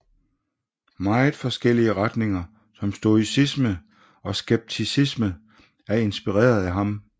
Meget forskellige retninger som stoicisme og skepticisme er inspireret af ham